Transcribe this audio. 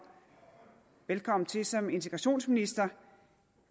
velkommen til som integrationsminister